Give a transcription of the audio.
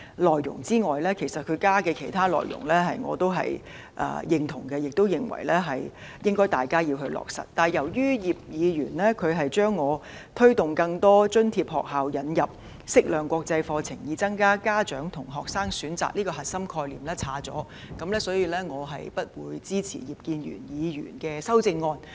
至於他加入的其他內容我是認同及認為應該落實的，但由於葉議員刪去了我提出"推動更多津貼學校引入適量國際課程，以增加家長和學生的選擇；"這個核心概念，所以我不會支持他的修正案。